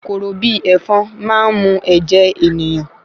Kòkòrò bi ẹ̀ẹ̀fọn máa n mu ẹ̀jẹ̀ ènìyàn